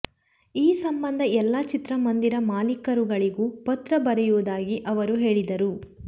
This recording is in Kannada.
ಈ ಸಂಬಂಧ ಎಲ್ಲ ಚಿತ್ರ ಮಂದಿರ ಮಾಲಿಕರುಗಳಿಗೂ ಪತ್ರ ಬರೆಯುವುದಾಗಿ ಅವರು ಹೇಳಿದರು